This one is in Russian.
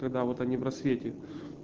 когда вот они в рассвете